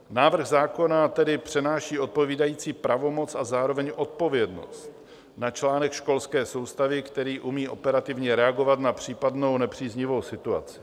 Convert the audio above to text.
Návrh zákona tedy přenáší odpovídající pravomoc a zároveň odpovědnost na článek školské soustavy, který umí operativně reagovat na případnou nepříznivou situaci.